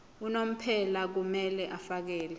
unomphela kumele afakele